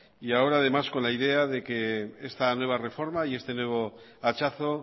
y ahora además con la idea de que esta nueva reforma y este nuevo hachazo